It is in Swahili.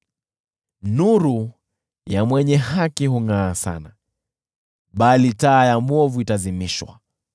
Nuru ya mwenye haki hungʼaa sana, bali taa ya mwovu itazimwa.